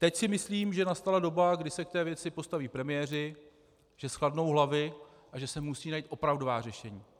Teď si myslím, že nastala doba, kdy se k té věci postaví premiéři, že zchladnou hlavy a že se musí najít opravdová řešení.